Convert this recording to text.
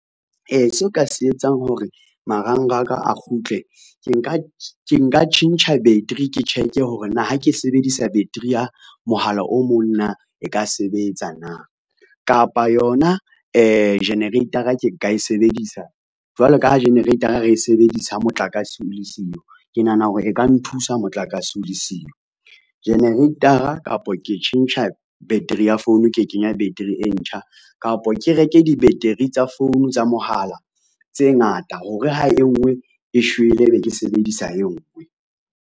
Seo ka se etsang hore marangraka a kgutle ke nka tjhentjha battery ke check-e hore na ha ke sebedisa battery ya mohala o mong na e ka sebetsa na. Kapa yona generator-a ke nka e sebedisa jwalo ka ha generator-a re e sebedisa ha motlakase o le siyo, ke nahana hore e ka nthusa motlakase o le siyo. Generator-a kapa ke tjhentjha battery ya phone ke kenya battery e ntjha kapa ke reke di-battery tsa phone tsa mohala tse ngata hore, ha e ngwe e shwele ebe ke sebedisa e ngwe.